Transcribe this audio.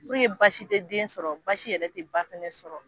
Puruke baasi te den sɔrɔ baasi yɛrɛ te baa sɔrɔ